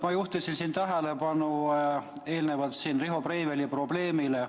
Ma juhtisin siin eelnevalt tähelepanu Riho Breiveli probleemile.